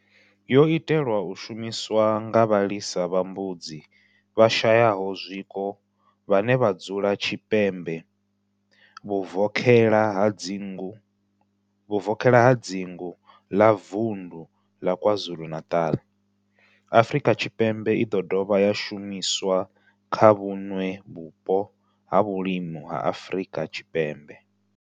yo itelwa u shumiswa nga vhalisa vha mbudzi vhashayaho zwiko vhane vha dzula tshipembe vhuvokhela ha dzingu la Vundu la KwaZulu-Natal, Afrika Tshipembe i do dovha ya shumiswa kha vhuṋwe vhupo ha vhulimi ha Afrika Tshipembe.